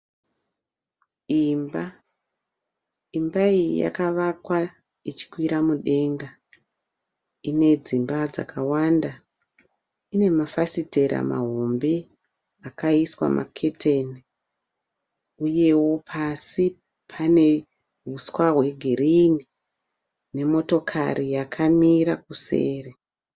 Imba, imba iyi yakavakwa ichikwira mudenga. Ine dzimba dzakawanda. Ine mafasitera mahombe akaiswa maketeni. Uyeo pasi pane huswa hwegirini nemotokari yakamira kuseri.